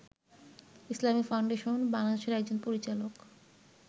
Islamic Foundation বাংলাদেশের একজন পরিচালক